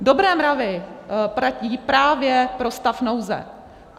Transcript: Dobré mravy platí právě pro stav nouze.